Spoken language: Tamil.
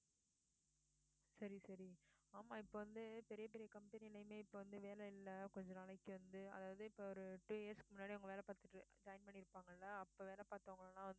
சரி சரி ஆமா இப்போ வந்து பெரிய பெரிய company லயுமே வந்து இப்ப வந்து வேலை இல்லை கொஞ்ச நாளைக்கு வந்து அதாவது இப்ப ஒரு two years க்கு முன்னாடி அவங்க வேலை பார்த்துட்டு join பண்ணியிருப்பாங்கல்ல அப்ப வேலை பார்த்தவங்க எல்லாம்~